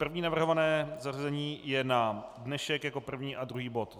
První navrhované zařazení je na dnešek jako první a druhý bod.